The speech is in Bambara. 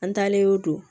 An taalen o don